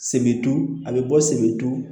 Sebetu a be bɔ sebetu